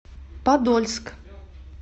подольск